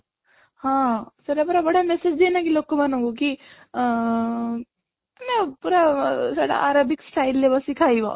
ହଁ ସେଟା ପରା ବଢିଆ massage ଦିଏ ନାଇଁ କି ଲୋକମାନଙ୍କୁ କି ଆଁ ମାନେ ପୁରା ସେଟା ପୁରା Arabic style ରେ ବସି ଖାଇବ